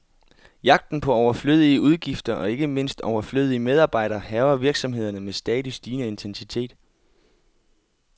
Jagten på overflødige udgifter, og ikke mindst overflødige medarbejdere, hærger virksomhederne med stadig stigende intensitet.